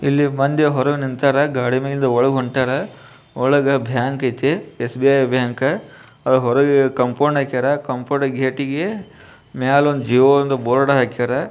ಇಲ್ಲಿ ಮಂದಿ ಹೊರಗ್ ನಿಂತಾರ. ಗಾಡಿ ಮ್ಯಾಗಿಂದ ಒಳಗ ಹೊಂಟಾರ. ಒಳಗ ಬ್ಯಾಂಕ್ ಐತಿ. SBI bank . ಅ ಹೊರಗ ಕಾಂಪೌಂಡ್ ಹಾಕ್ಯಾರ. ಕಾಂಪೌಂಡ್ ಗೇಟ್ ಇಗೆ ಮ್ಯಾಲ್ ಒಂದ್ ಜಿಒ ಅಂತ ಬೋರ್ಡ್ ಹಾಕ್ಯಾರ.